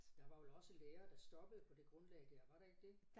Der var vel også lærere der stoppede på det grundlag der var der ikke det